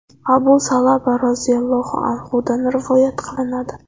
Abu Sa’laba roziyallohu anhudan rivoyat qilinadi.